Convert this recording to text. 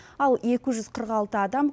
ал екі жүз қырық алты адам